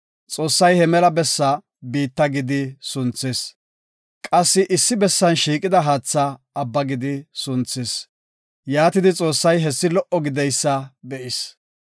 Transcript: Xoossay he mela bessaa, “Biitta” gidi sunthis; qassi issi bessan shiiqida haatha, “Abba” gidi sunthis. Yaatidi, Xoossay hessi lo77o gididaysa be7is.